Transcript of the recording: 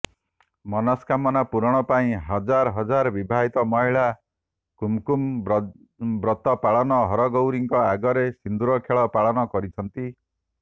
ମନସ୍କାମନା ପୂରଣ ପାଇଁ ହଜାର ହଜାର ବିବାହିତ ମହିଳା କୁମକୁମ୍ ବ୍ରତ ପାଳନ ହରଗୌରୀଙ୍କ ଆଗରେ ସିନ୍ଦୁରଖେଳ ପାଳନ କରିଛନ୍ତି